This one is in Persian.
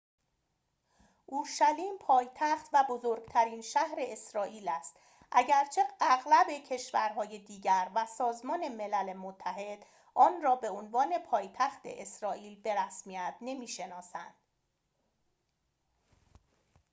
اورشلیم پایتخت و بزرگترین شهر اسرائیل است اگرچه اغلب کشورهای دیگر و سازمان ملل متحد آن را به‌عنوان پایتخت اسرائیل به رسمیت نمی‌شناسند